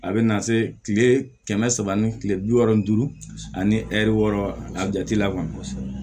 A bɛ na se kile kɛmɛ saba ni kile bi wɔɔrɔ ni duuru ani ɛri wɔɔrɔ a jate la kɔni